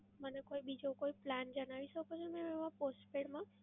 મને કોઈ બીજો કોઈ plan જણાવી શકો છો એમાં postpaid માં?